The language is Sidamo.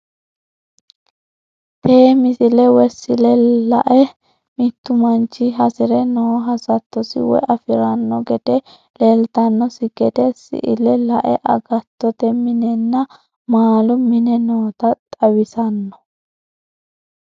Tee misile woy sile la'e mittu mannich hasrre noo hassatosi woy afirrano gede lelitanosi gede sile la'e agattote minenna mallu mini notta xawissano